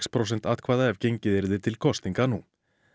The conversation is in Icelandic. prósent atkvæða ef gengið yrði til kosninga nú